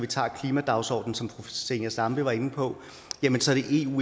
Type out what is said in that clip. tager klimadagsordenen som fru zenia stampe var inde på